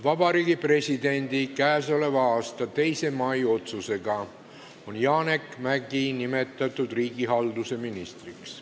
Vabariigi Presidendi k.a 2. mai otsusega on Janek Mäggi nimetatud riigihalduse ministriks.